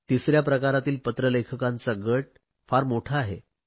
तिसऱ्या प्रकारातील पत्र लेखकांचा गट फार मोठा आहे